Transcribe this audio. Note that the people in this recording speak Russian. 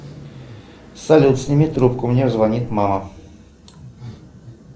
салют сними трубку мне звонит мама